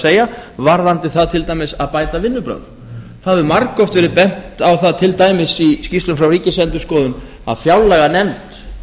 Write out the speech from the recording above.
er varðandi það til dæmis að bæta vinnubrögð það hefur margoft verið bent á það til dæmis í skýrslum frá ríkisendurskoðun að fjárlaganefnd